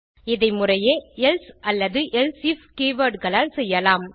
இதை முறையே எல்சே அல்லது எல்சீஃப் கீவர்ட் களால் செய்யலாம்